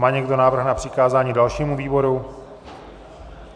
Má někdo návrh na přikázání dalšímu výboru?